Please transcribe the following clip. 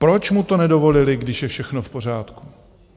Proč mu to nedovolili, když je všechno v pořádku?